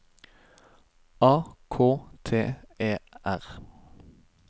A K T E R